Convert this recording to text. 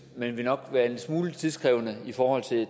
men ville nok være en smule tidkrævende i forhold til